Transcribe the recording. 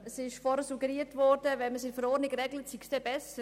Vorhin wurde suggeriert, wenn man es in der Verordnung regelt, sei es besser.